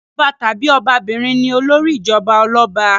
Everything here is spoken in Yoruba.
Ọba tàbí ọbabìnrin ni olórí ìjọba ọlọ́ba.